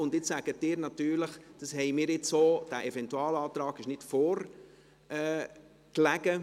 Und jetzt sagen Sie natürlich, dass dieser Eventualantrag nicht vorlag.